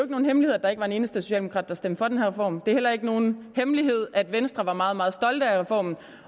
nogen hemmelighed at der ikke var en eneste socialdemokrat der stemte for den her reform det er heller ikke nogen hemmelighed at venstre var meget meget stolte af reformen